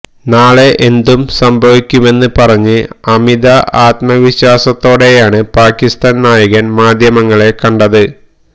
നാളെ എന്തും സംഭവിക്കുമെന്ന് പറഞ്ഞ് അമിത ആത്മവിശ്വാസത്തോടയാണ് പാക്കിസ്താന് നായകന് മാധ്യമങ്ങളെ കണ്ടത്